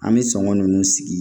An bɛ sɔngɔ ninnu sigi